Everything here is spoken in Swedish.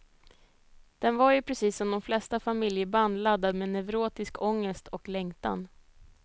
Den var ju precis som de flesta familjeband laddad med neurotisk ångest och längtan.